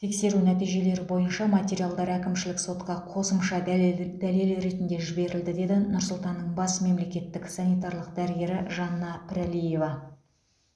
тексеру нәтижелері бойынша материалдар әкімшілік сотқа қосымша дәлел дәлел ретінде жіберілді деді нұр сұлтанның бас мемлекеттік санитарлық дәрігері жанна пірәлиева